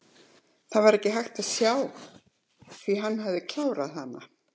Það var ekki hægt að sjá því hann hafði klárað hana.